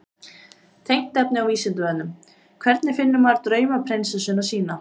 Tengt efni á Vísindavefnum: Hvernig finnur maður draumaprinsessuna sína?